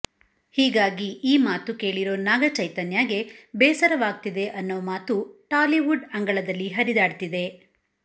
ಹೀಗಾಗಿ ಈ ಮಾತು ಕೇಳಿರೋ ನಾಗ ಚೈತನ್ಯಗೆ ಬೇಸರವಾಗ್ತಿದೆ ಅನ್ನೋ ಮಾತು ಟಾಲಿವುಡ್ ಅಂಗಳದಲ್ಲಿ ಹರಿದಾಡ್ತಿದೆ